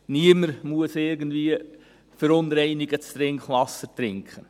Niemand muss irgendwie verunreinigtes Trinkwasser trinken.